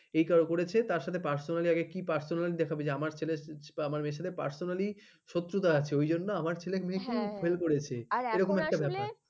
ঠিক করেছে তার সাথে personally আগে কি personally দেখাবে যে আমার ছেলেকে বা আমার মেয়ের সাথে personally শত্রুতা আছে অই জন্ন আমার ছেলে মেয়ে হ্যাঁ হ্যাঁ কিন্তু fail করেছে এরকম একটা ব্যাপার